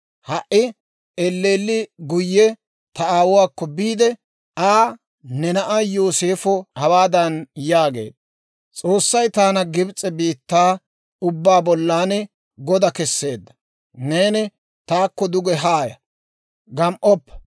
«Ha"i elleelli guyye ta aawuwaakko biide Aa, ‹Ne na'ay Yooseefo hawaadan yaagee; «S'oossay taana Gibs'e biittaa ubbaa bollan goda keseedda; neeni taakko duge haaya; gam"oppa.